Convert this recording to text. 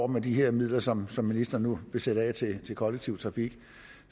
med de her midler som som ministeren nu vil sætte af til kollektiv trafik